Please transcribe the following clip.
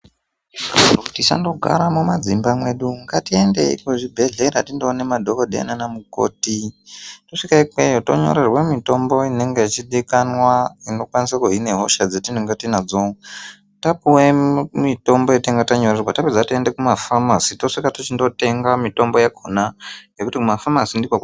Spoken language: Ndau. Tisandogaa mumadzimba mwedu ngatiendeyi kuzvibhehlera tindoone madhokodheya nana mukoti tosvika ikweyo tonyorerwe mitombo inenge ichidikanwa inokwanise kubine hosha dzatinge tinadzo. Tapuwe mitombo yatinenge tanyorerwa tapedza toende mumafamasi tosvika tochindotwnga mitombo yakhona ngekuti kumafamasi ndikwo.